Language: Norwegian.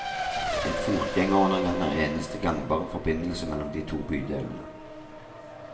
En fotgjengerundergang er eneste gangbare forbindelsen mellom de to bydelene.